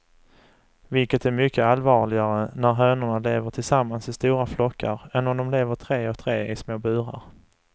Vilket är mycket allvarligare när hönorna lever tillsammans i stora flockar än om de lever tre och tre i små burar.